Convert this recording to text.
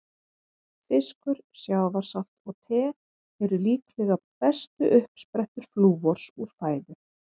Fiskur, sjávarsalt og te eru líklega bestu uppsprettur flúors úr fæðu.